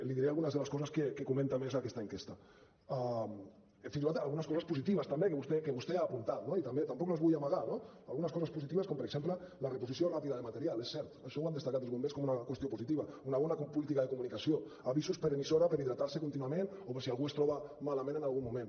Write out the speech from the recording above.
li diré algunes de les coses que comenta més aquesta enquesta fins i tot algunes coses positives també que vostè ha apuntat no i tampoc les vull amagar algunes coses positives com per exemple la reposició ràpida de material és cert això ho han destacat els bombers com una qüestió positiva una bona política de comunicació avisos per emissora per hidratar se contínuament o per si algú es troba malament en algun moment